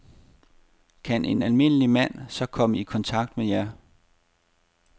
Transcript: Kan en almindelig mand så komme i kontakt med jer?